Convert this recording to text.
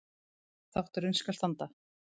Þátturinn skal standa